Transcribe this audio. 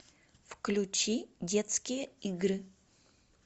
включи детские игры